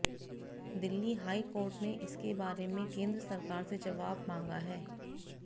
Delhi high court ने इसके बारे में केंद्र सरकार से जवाब मांगा है